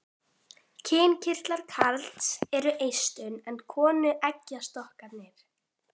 Kynkirtlar karls eru eistun en konu eggjastokkarnir.